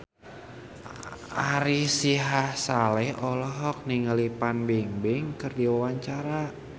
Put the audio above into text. Ari Sihasale olohok ningali Fan Bingbing keur diwawancara